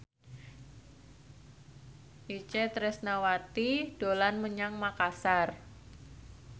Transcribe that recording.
Itje Tresnawati dolan menyang Makasar